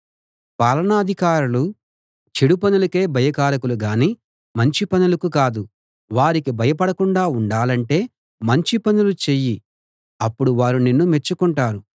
పాలనాధికారులు చెడు పనులకే భయకారకులు గానీ మంచి పనులకు కాదు వారికి భయపడకుండా ఉండాలంటే మంచి పనులు చెయ్యి అప్పుడు వారు నిన్ను మెచ్చుకుంటారు